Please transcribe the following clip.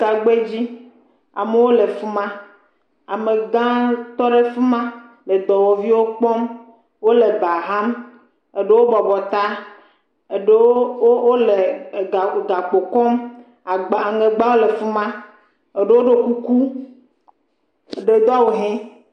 Tagba dzi, amewo le fi ma, ame gã tɔ ɖe fi ma le dɔwɔviwo kpɔm, wole ba ham, eɖewo bɔbɔ ta, eɖewo wo gakpo kɔm, agba le fi ma, ɖewo ɖo kuku. Eɖe do awu ʋie.